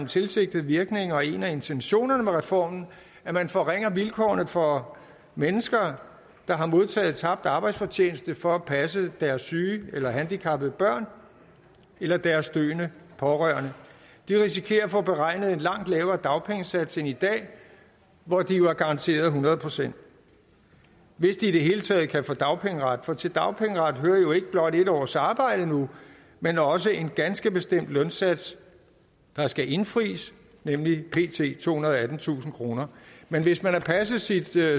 tilsigtet virkning og en af intentionerne med reformen at man forringer vilkårene for mennesker der har modtaget tabt arbejdsfortjeneste for at passe deres syge eller handicappede børn eller deres døende pårørende de risikerer at få beregnet en langt lavere dagpengesats end i dag hvor de jo er garanteret hundrede procent hvis de i det hele taget kan få dagpengeret for til dagpengeretten hører jo nu ikke blot en års arbejde men også en ganske bestemt lønsats der skal indfries nemlig pt tohundrede og attentusind kroner men hvis man har passet sit